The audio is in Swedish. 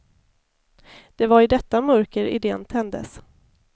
Det var i detta mörker idén tändes.